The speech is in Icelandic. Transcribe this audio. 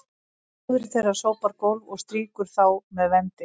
móðir þeirra sópar gólf og strýkir þá með vendi